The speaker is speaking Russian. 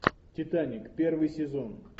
титаник первый сезон